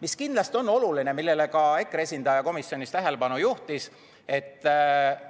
Mis kindlasti on oluline, millele ka EKRE esindaja komisjonis tähelepanu juhtis, see